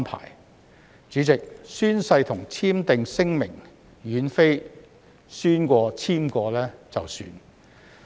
代理主席，宣誓和簽署聲明並非宣誓過、簽署過便作罷。